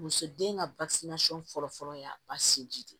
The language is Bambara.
Muso den ka fɔlɔ fɔlɔ y'a ba sinji di